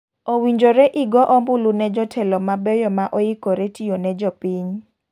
Owinjore igo ombulu ne jotelo mabeyo ma oikore tiyo ne jopiny.